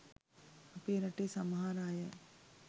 අපේරටේ සමහර අය